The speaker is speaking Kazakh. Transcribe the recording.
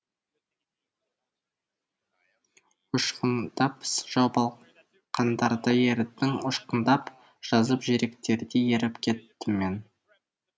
ұшқындап жауып алақандарда ерідің ұшқындап жазып жүректерде еріп кеттім мен